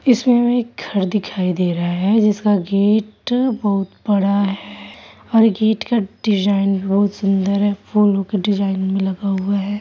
इसमें हमें घर दिखाई दे रहे है जिसका गेट बहुत बड़ा है और गेट का डिजाइन बहुत सुंदर है फूलो के डिजाइन में लगा हुआ है